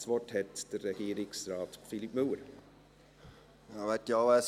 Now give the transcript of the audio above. Das Wort hat Regierungsrat Philippe Müller.